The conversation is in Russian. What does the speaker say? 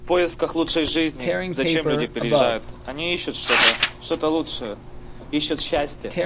в поисках лучшей жизни зачем люди приезжают они ищут что-то что-то лучшее ищут счастье